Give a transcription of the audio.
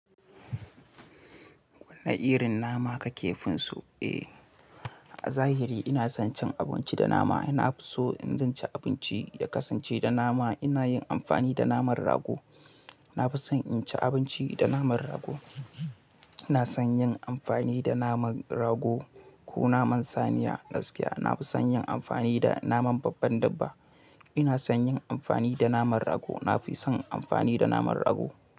Wane irin nama kake finso? Eh, a zahiri ina son cin abinci da nama. Ina fi so in ci abinci ya kasance da nama. Ina yin amfani da naman rago. Na fi son in ci abinci da naman rago. Ina son yin amfani da naman rago ko naman saniya gaskiya. Na fi son yin amfani da naman babban dabba. Ina son yin amfani da naman rago. Na fi son amfani da naman rago.